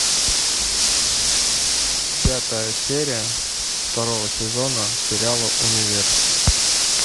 пятая серия второго сезона сериала универ